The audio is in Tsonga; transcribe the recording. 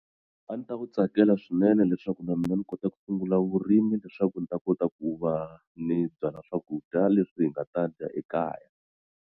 A ni ta wu tsakela swinene leswaku na mina ni kota ku sungula vurimi leswaku ni ta kota ku va ni byala swakudya leswi hi nga ta dya ekaya.